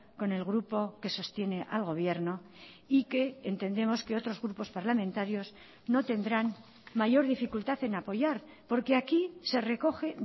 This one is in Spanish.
con el grupo que sostiene al gobierno y que entendemos que otros grupos parlamentarios no tendrán mayor dificultad en apoyar porque aquí se recoge